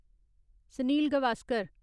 Sanil Gavaskar